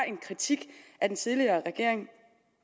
en kritik af den tidligere regering